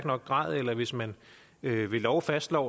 nok grad eller hvis man ved lov fastslår